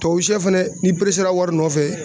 Tubabu shɛ fɛnɛ n'i a wari nɔfɛ